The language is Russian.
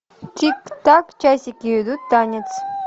тик так часики идут танец